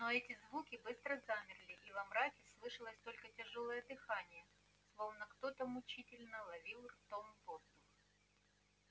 но и эти звуки быстро замерли и во мраке слышалось только тяжёлое дыхание словно кто то мучительно ловил ртом воздух